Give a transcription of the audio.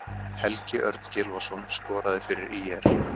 Helgi Örn Gylfason skoraði fyrir ÍR.